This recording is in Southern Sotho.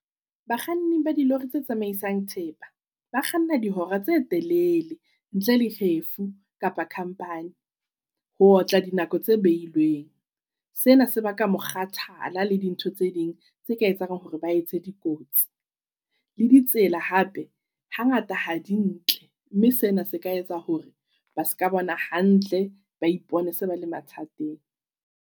Bakganni ba dilori tse tsamaisang thepa, ba kganna dihora tse telele ntle le kgefu kapa khampani. Ho otla di nako tse beilweng. Sena se ba ka mo kgathala le dintho tse ding tse ka etsang hore ba etse dikotsi. Le ditsela hape ha ngata ha di ntle, mme sena se ka etsa hore ba ska bona hantle ba ipone se ba le mathateng.